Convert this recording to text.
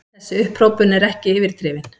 Þessi upphrópun er ekki yfirdrifin.